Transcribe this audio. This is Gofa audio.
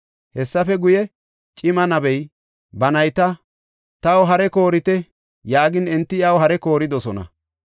Hessafe guye, cima nabey ba nayta, “Taw hare koorite” yaagin enti iyaw hare kooridosona.